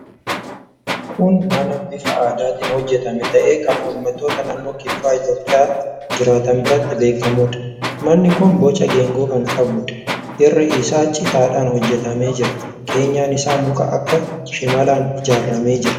Kun mana bifa aadaatiin hojjetame ta'ee, kan uummattoota naannoo kibba Itiyoophiyaa jiraatan biratti beekamuudha. Manni kun boca geengoo kan qabuudha. Irri isaa citaadhaan hojjetamee jira. Keenyan isa muka akka shimalaan ijaaramee jira.